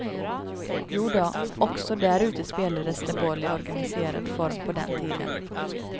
Jodå, också där ute spelades det boll i organiserad form på den tiden.